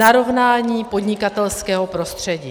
Narovnání podnikatelského prostředí.